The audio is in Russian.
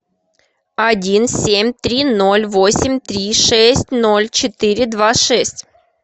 один семь три ноль восемь три шесть ноль четыре два шесть